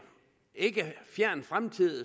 ikke fjern fremtid